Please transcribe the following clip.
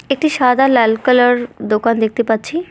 একটি সাদা লাল কালার দোকান দেখতে পাচ্ছি।